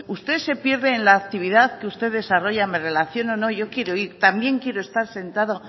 usted se pierde en la actividad que usted desarrolla me relaciono no yo quiero ir también quiero estar sentado